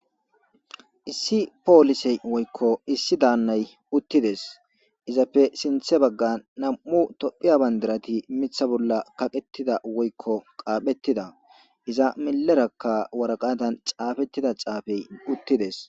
issi poolisey woykko issi daannay uttides izapfe sinthe bagga nam7u tophiya bandirati mitha bolla kaqettida woykko qaaphettida iza milerakka waraqatan caafettida caafey uttides